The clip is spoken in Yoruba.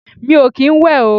Mi ò kín ń wẹ̀ o.